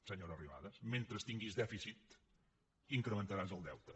senyora arrimadas mentre tinguis dèficit incrementaràs el deute